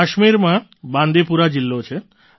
કાશ્મીરમાં બાંદીપુરા જિલ્લો છે